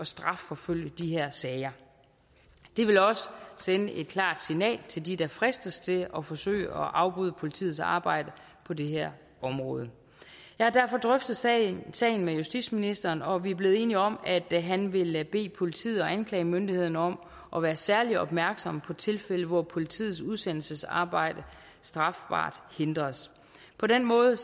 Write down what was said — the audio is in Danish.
strafforfølge i de her sager det vil også sende et klart signal til dem der fristes til at forsøge at afbryde politiets arbejde på det her område jeg har derfor drøftet sagen sagen med justitsministeren og vi er blevet enige om at han vil bede politiet og anklagemyndigheden om at være særlig opmærksom på tilfælde hvor politiets udsendelsesarbejde strafbart hindres på den måde